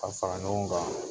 Ka fara ɲɔgɔn kan